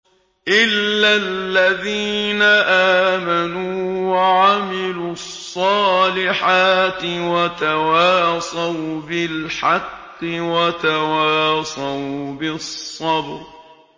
إِلَّا الَّذِينَ آمَنُوا وَعَمِلُوا الصَّالِحَاتِ وَتَوَاصَوْا بِالْحَقِّ وَتَوَاصَوْا بِالصَّبْرِ